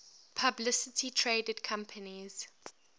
publicly traded companies